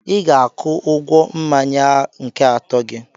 I ga-akụ ụgwọ mmanya nke atọ gị.